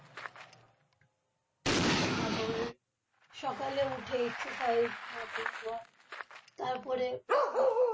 আমার সকালে উঠে exercise হয়। তারপরে আহ